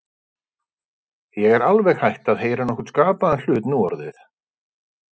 Ég er alveg hætt að heyra nokkurn skapaðan hlut nú orðið.